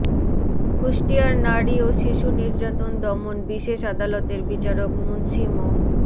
কুষ্টিয়ার নারী ও শিশুনির্যাতন দমন বিশেষ আদালতের বিচারক মুন্সী মো